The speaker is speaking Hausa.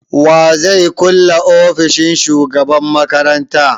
Wa zai kulle ofishin shugaban makaranta?